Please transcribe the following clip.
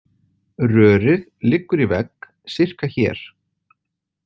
Rörið liggur í vegg sirka hér